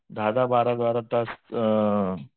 दहा दहा बारा बारा तास अ